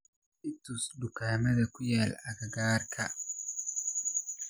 i tus dukaamada ku yaal agagaarka